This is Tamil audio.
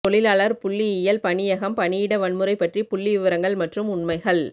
தொழிலாளர் புள்ளியியல் பணியகம் பணியிட வன்முறை பற்றி புள்ளிவிவரங்கள் மற்றும் உண்மைகள்